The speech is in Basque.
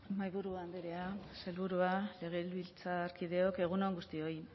mahaiburu andrea sailburua legebiltzarkideok egun on guztioi